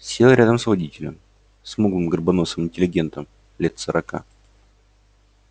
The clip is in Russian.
сел рядом с водителем смуглым горбоносым интеллигентом лет сорока